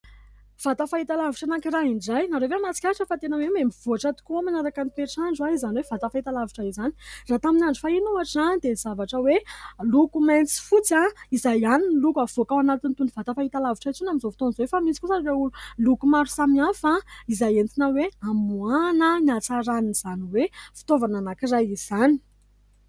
Vata fahitalavitra anankiray indray. Ianareo ve mahatsikatra fa tena hoe mihamivoatra tokoa manaraka ny toetr'andro izany hoe vata fahitalavitra izany ? Raha tamin'ny andro fahiny ohatra dia zavatra hoe loko mainty sy fotsy izay ihany no loko havoaka ao anatin'itony vata fahitalavitra itony, amin'izao fotoan'izao efa misy kosa ireo loko maro samihafa izay entina hoe amoahana ny hatsaran'izany hoe fitaovana anankiray izany.